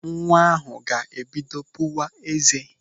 Nwa ahụ ga-ebido pụwa ézé.